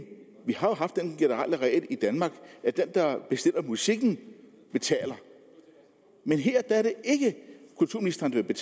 vi har haft den generelle regel i danmark at den der bestiller musikken betaler men her er det ikke kulturministeren der vil